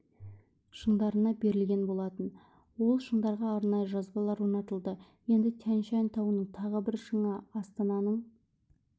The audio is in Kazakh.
шыңдарына берілген болатын ол шыңдарға арнайы жазбалар орнатылды енді тянь-шань тауының тағы бір шыңы астананың